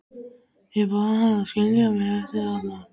Ég bað hann að skilja mig eftir þarna.